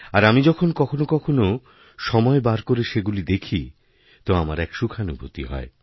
আর আমি যখন কখনওকখনও সময় বার করে সেগুলি দেখি তো আমার এক সুখানুভূতি হয়